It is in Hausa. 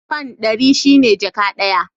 Fan ɗari shi ne jaka ɗaya.